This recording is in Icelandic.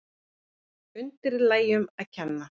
Undirlægjunum að kenna.